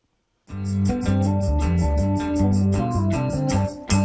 við